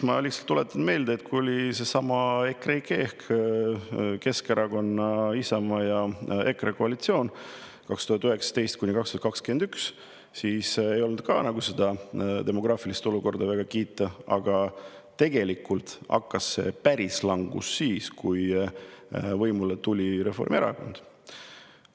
Ma lihtsalt tuletan meelde, et ka sellesama EKREIKE ehk Keskerakonna, Isamaa ja EKRE koalitsiooni ajal 2019–2021 ei olnud demograafiline olukord väga kiita, aga päris langus algas siis, kui võimule tuli Reformierakond.